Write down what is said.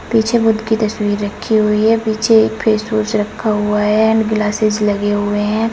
पीछे बुद्ध की तस्वीर रखी हुई है पीछे एक फेसवास रखा हुआ है एंड ग्लासेस लगे हुए हैं।